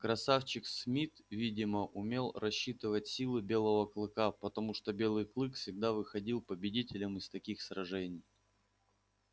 красавчик смит видимо умел рассчитывать силы белого клыка потому что белый клык всегда выходил победителем из таких сражений